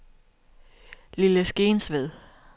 Lille Skensved